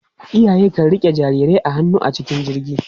Iyaye kan riƙe jarirai a hannu a cikin jirgi.